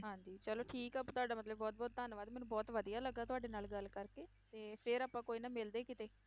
ਹਾਂਜੀ ਚਲੋ ਠੀਕ ਆ ਤੁਹਾਡਾ ਮਤਲਬ ਬਹੁਤ ਬਹੁਤ ਧੰਨਵਾਦ, ਮੈਨੂੰ ਬਹੁਤ ਵਧੀਆ ਲੱਗਾ ਤੁਹਾਡੇ ਨਾਲ ਗੱਲ ਕਰਕੇ, ਤੇ ਫਿਰ ਆਪਾਂ ਕੋਈ ਨਾ ਮਿਲਦੇ ਕਿਤੇ।